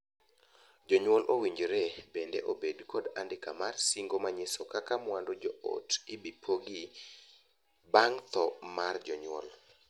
Jonyuol owinjore bende obed kod andika mar singo manyiso kaka mwandu joot ibi pogi bang' thoo mar jonyuol.